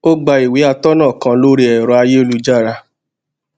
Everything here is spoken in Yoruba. ó gba ìwé atónà kan lórí ẹrọ ayélujára